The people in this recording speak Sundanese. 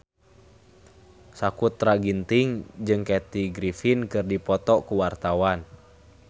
Sakutra Ginting jeung Kathy Griffin keur dipoto ku wartawan